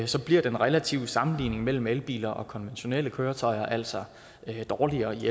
så bliver den relative sammenligning mellem elbiler og konventionelle køretøjer altså dårligere